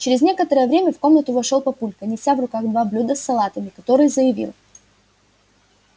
через некоторое время в комнату вошёл папулька неся в руках два блюда с салатами который заявил